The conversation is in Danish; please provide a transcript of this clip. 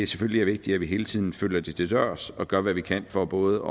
selvfølgelig er vigtigt at vi hele tiden følger det til dørs og gør hvad vi kan for både